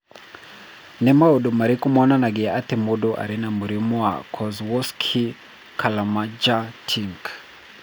Nĩ maũndũ marĩkũ monanagia atĩ mũndũ arĩ na mũrimũ wa Kozlowski Celermajer Tink?